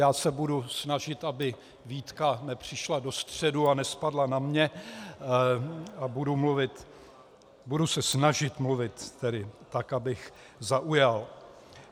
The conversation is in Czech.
Já se budu snažit, aby výtka nepřišla do středu a nespadla na mě, a budu mluvit - budu se snažit mluvit tedy tak, abych zaujal.